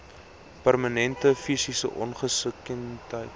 permanente fisiese ongeskiktheid